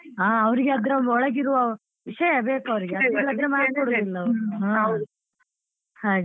ಹಾ ಅವ್ರಿಗೆ ಅದ್ರ ಒಳಗೆ ಇರುವ ವಿಷಯ ಬೇಕ್ ಅವರಿಗೆ ಇಲ್ಲದಿದ್ರೆ mark ಕೊಡುದಿಲ್ಲ ಅವ್ರು. ಹಾಗೆ.